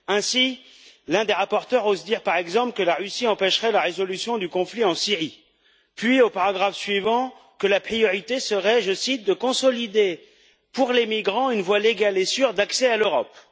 Ainsi, l'un des rapporteurs ose dire, par exemple, que la Russie empêcherait la résolution du conflit en Syrie, puis, au paragraphe suivant, que la priorité serait je cite de consolider, pour les migrants, une voie légale et sûre d'accès à l'Europe.